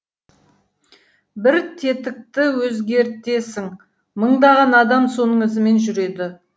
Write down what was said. бір тетікті өзгертесің мыңдаған адам соның ізімен жүреді